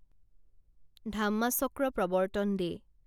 Dhammachakra Pravartan day